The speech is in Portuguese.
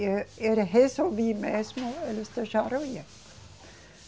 Eu resolvi mesmo, eles deixaram eu ir.